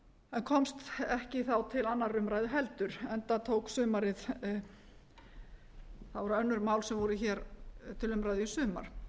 en komst ekki þá til annarrar umræðu heldur enda tók sumarið það voru önnur mál sem voru hér til umræðu í sumar